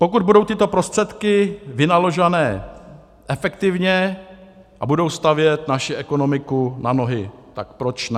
Pokud budou tyto prostředky vynaložené efektivně a budou stavět naši ekonomiku na nohy, tak proč ne.